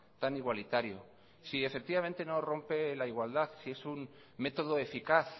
tan igualitario si efectivamente no rompe la igualdad si es un método eficaz